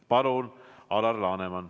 Palun, Alar Laneman!